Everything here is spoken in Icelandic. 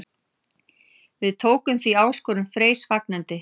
Við tókum því áskorun Freys fagnandi.